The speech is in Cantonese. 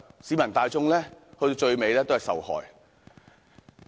市民大眾最終也會受害。